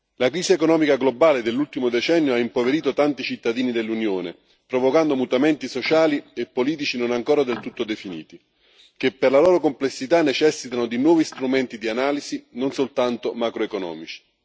La crisi economica globale dell'ultimo decennio ha impoverito tanti cittadini dell'Unione, provocando mutamenti sociali e politici non ancora del tutto definiti, che per la loro complessità necessitano di nuovi strumenti di analisi, non soltanto macroeconomici.